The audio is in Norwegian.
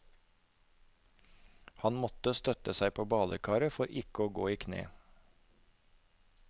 Han måtte støtte seg på badekaret for ikke å gå i kne.